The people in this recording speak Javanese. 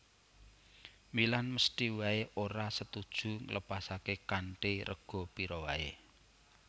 Milan mesthi waé ora setuju nglepasaké kanthi rega pira waé